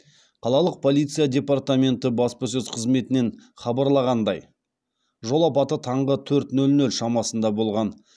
қалалық полиция департаменты баспасөз қызметінен хабарлағандай жол апаты таңғы төрт нөл нөл шамасында болған